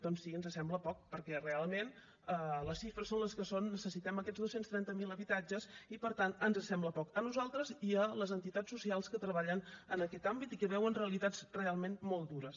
doncs sí ens sembla poc perquè realment les xifres són les que són necessitem aquests dos cents i trenta miler habitatges i per tant ens sembla poc a nosaltres i a les entitats socials que treballen en aquest àmbit i que veuen realitats realment molt dures